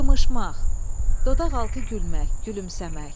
Qımışmaq, dodaqaltı gülmək, gülümsəmək.